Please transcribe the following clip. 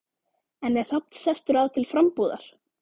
En er Hrafn sestur að til frambúðar?